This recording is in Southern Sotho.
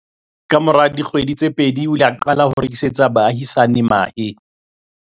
Kamora dikgwedi tse pedi, o ile a qala ho rekisetsa baahisani mahe.